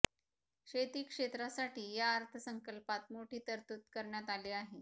शेती क्षेत्रासाठी या अर्थसंकल्पात मोठी तरतूद करण्यात आली आहे